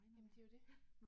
Jamen det jo det